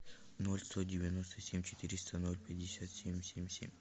ноль сто девяносто семь четыреста ноль пятьдесят семь семь семь